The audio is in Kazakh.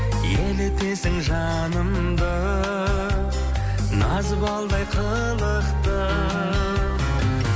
елітесің жанымды назы балдай қылықтым